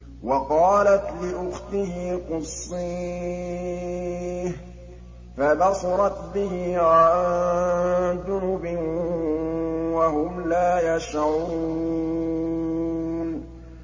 وَقَالَتْ لِأُخْتِهِ قُصِّيهِ ۖ فَبَصُرَتْ بِهِ عَن جُنُبٍ وَهُمْ لَا يَشْعُرُونَ